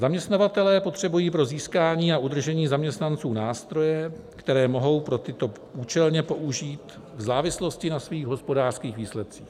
Zaměstnavatelé potřebují pro získání a udržení zaměstnanců nástroje, které mohou pro tyto účelně použít v závislosti na svých hospodářských výsledcích.